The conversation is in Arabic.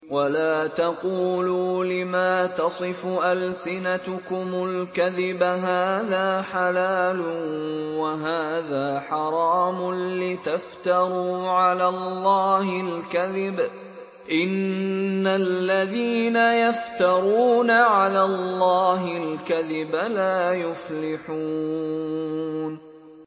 وَلَا تَقُولُوا لِمَا تَصِفُ أَلْسِنَتُكُمُ الْكَذِبَ هَٰذَا حَلَالٌ وَهَٰذَا حَرَامٌ لِّتَفْتَرُوا عَلَى اللَّهِ الْكَذِبَ ۚ إِنَّ الَّذِينَ يَفْتَرُونَ عَلَى اللَّهِ الْكَذِبَ لَا يُفْلِحُونَ